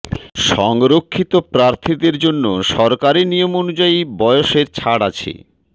সংরক্ষিত প্রার্থীদের জন্য সরকারি নিয়ম অনুযায়ী বয়সের ছাড় আছে